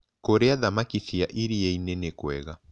Kũrĩa thamakĩ cia ĩrĩaĩnĩ nĩkwega